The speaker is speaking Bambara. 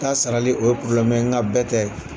K'a sarali , o ye porobilɛmu ye, nka bɛɛ tɛ.